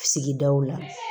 Sigidaw la